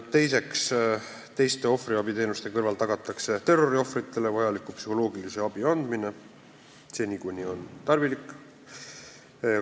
Teiseks, teiste ohvriabiteenuste kõrval tagatakse terroriohvritele vajaliku psühholoogilise abi andmine seni, kuni on tarvilik.